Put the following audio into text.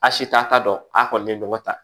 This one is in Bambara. A si t'a ta dɔn a kɔni ye nɔgɔ ta